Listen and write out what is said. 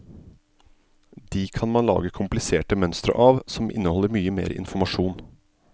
De kan man lage kompliserte mønstre som inneholder mye mer informasjon.